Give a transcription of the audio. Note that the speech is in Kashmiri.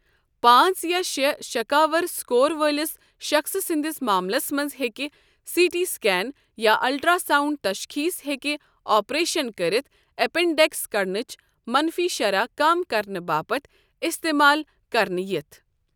پانٛژیا شٚے شكاور سکور وٲلِس شخصہٕ سندِس ماملس منز ہیٚكہِ سی ٹی سكین یا الٹر٘ا ساونڈ تشخیص ہیكہِ اپریشن كرِتھ ایپینڈیكس كڈنچ منفی شرح کم کرنہٕ باپتھ استعمال کرنہٕ یِتھ ۔